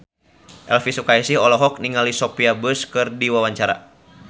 Elvi Sukaesih olohok ningali Sophia Bush keur diwawancara